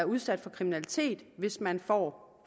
udsat for kriminalitet hvis man får